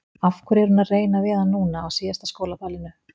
Af hverju er hún að reyna við hann núna, á síðasta skólaballinu?